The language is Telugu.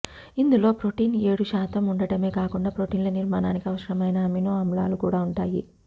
ఇందులో ప్రొటీన్ ఏడు శాతం ఉండడమే కాకుండా ప్రొటీన్ల నిర్మాణానికి అవసరమైన అమినో ఆమ్లాలు కూడా ఉంటాయి